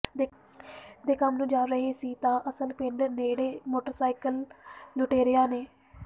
ਦੇ ਕੰਮ ਨੂੰ ਜਾ ਰਹੇ ਸੀ ਤਾਂ ਆਸਲ ਪਿੰਡ ਨੇੜੇ ਮੋਟਰ ਸਾਈਕਲ ਲੁਟੇਰਿਆ ਨੇ